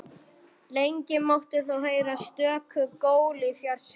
Lengi mátti þó heyra stöku gól í fjarska.